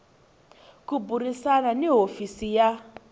ku burisana ni hofisi ya